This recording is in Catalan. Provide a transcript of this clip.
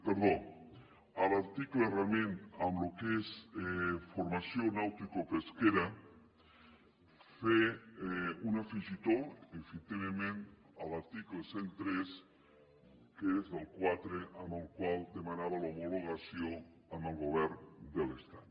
perdó a l’article realment amb el que és formació nauticopesquera fer un afegitó efectivament a l’article cent i tres que és el quatre amb el qual demanava l’homologació amb el govern de l’estat